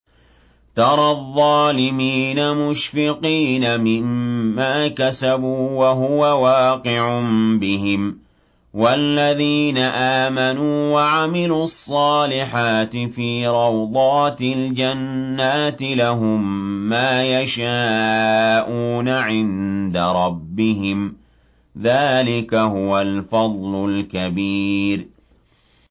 تَرَى الظَّالِمِينَ مُشْفِقِينَ مِمَّا كَسَبُوا وَهُوَ وَاقِعٌ بِهِمْ ۗ وَالَّذِينَ آمَنُوا وَعَمِلُوا الصَّالِحَاتِ فِي رَوْضَاتِ الْجَنَّاتِ ۖ لَهُم مَّا يَشَاءُونَ عِندَ رَبِّهِمْ ۚ ذَٰلِكَ هُوَ الْفَضْلُ الْكَبِيرُ